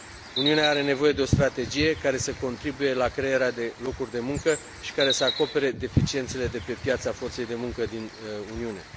Uniunea are nevoie de o strategie care să contribuie la crearea de locuri de muncă și care să acopere deficiențele de pe piața forței de muncă din Uniune.